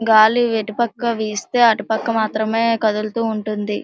గాలి ఏటుపక్క వేస్తే అటు పక్క మాత్రమే కదులుతూ ఉంటుంది.